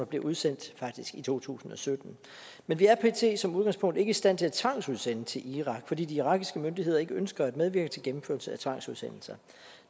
bliver udsendt i to tusind og sytten men vi er pt som udgangspunkt ikke i stand til at tvangsudsende til irak fordi de irakiske myndigheder ikke ønsker at medvirke til gennemførelse af tvangsudsendelser